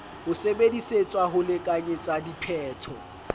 ho sebedisetswa ho lekanyetsa diphetho